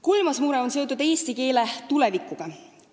Kolmas mure on seotud eesti keele tulevikuga.